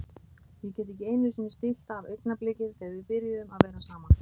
Ég get ekki einusinni stillt af augnablikið þegar við byrjuðum að vera saman.